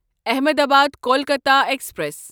Ahmedabad Kolkata express